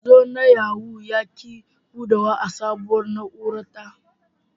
Manzo na Yahoo ya ki budewa a sabuwar na'ura ta